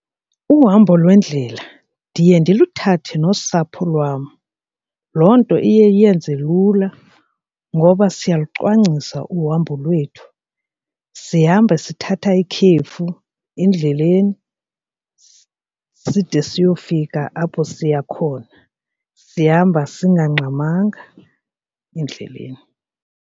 Uhambo lwendlela ndiye ndiluthathe nosapho lwam. Loo nto iye iyenze lula ngoba siyalucwangciswa uhambo lwethu, sihamba sithatha ikhefu endleleni side siyofika apho siya khona sihamba singangxamanga endleleni.